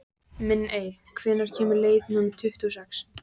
Minney, hvenær kemur leið númer tuttugu og sex?